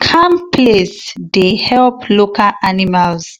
calm place day help local animals